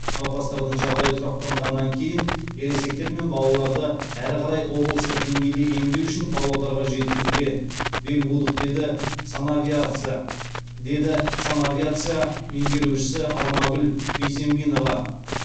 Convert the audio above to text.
науқастардың жағдайы тұрақтанғаннан кейін ересектер мен балаларды әрі қарай облыстық деңгейде емдеу үшін павлодарға жеткізуге бел будық деді санавиация меңгерушісі алмагүл бесембинова